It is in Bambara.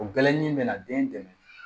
O gɛlɛn in bɛ na den dɛmɛ